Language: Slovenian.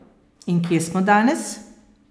In kje smo danes?